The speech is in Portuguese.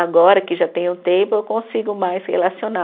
Agora que já tenho tempo, eu consigo mais relacionar.